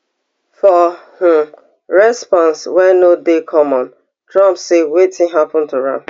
for um response wey no dey common trump say wetin happen to am